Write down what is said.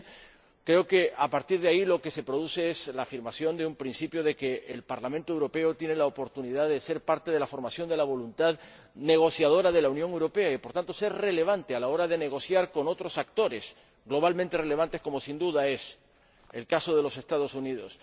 Bien, creo que a partir de ahí lo que se produce es la afirmación del principio de que el Parlamento Europeo tiene la oportunidad de ser parte de la formación de la voluntad negociadora de la Unión Europea y, por tanto, ser relevante a la hora de negociar con otros actores globalmente relevantes, como sin duda es el caso de los Estados Unidos.